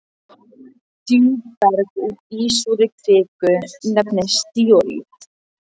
Djúpberg úr ísúrri kviku nefnist díorít.